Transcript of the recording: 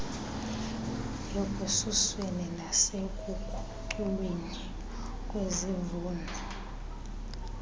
ekususweni nasekukhuculweni kwezivuno